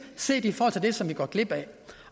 set i forhold til det som vi går glip af